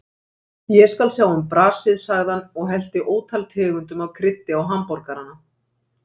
Ég skal sjá um brasið, sagði hann og hellti ótal tegundum af kryddi á hamborgarana.